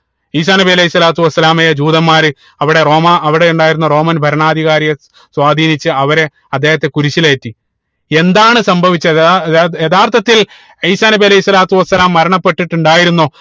ഈസാ നബി അലൈഹി സ്വലാത്തു വസ്സലാമയെ ജൂതന്മാര് അവിടെ റോമ അവിടെ ഉണ്ടായിരുന്ന roman ഭരണാധികാരിയെ സ്വാധീനിച്ച് അവരെ അദ്ദേഹത്തെ കുരിശിലേറ്റി എന്താണ് സംഭവിച്ചത് ആഹ് യഥാർത്ഥത്തിൽ ഈസാ നബി അലൈഹി സ്വലാത്തു വസ്സലാം മരണപ്പെട്ടിട്ടുണ്ടായിരുന്നോ